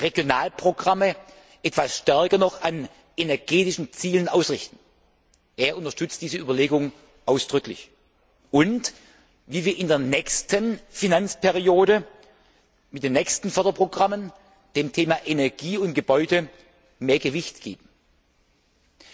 Regionalprogramme etwas stärker noch an energetischen Zielen ausrichten er unterstützt diese Überlegung ausdrücklich und wie wir in der nächsten Finanzperiode mit den nächsten Förderprogrammen dem Thema Energie und Gebäude mehr Gewicht geben können.